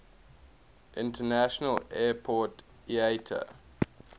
international airport iata